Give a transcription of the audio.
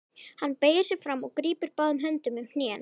Hann beygir sig fram og grípur báðum höndum um hnén.